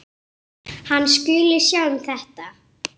En þetta var þá.